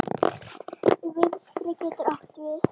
Vinstri getur átt við